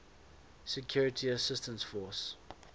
security assistance force